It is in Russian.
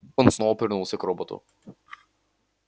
он снова повернулся к роботу